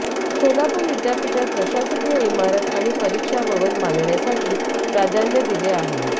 सोलापूर विद्यापीठात प्रशासकीय इमारत आणि परीक्षा भवन बांधण्यासाठी प्राधान्य दिले आहे